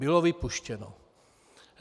Bylo vypuštěno.